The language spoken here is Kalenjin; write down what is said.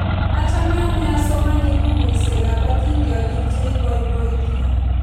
Achame ane asomani pukuisyek ap atindyonik che ipoipoiti